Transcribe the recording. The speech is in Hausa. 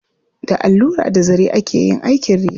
Da allura da zare ake yin aikin riga.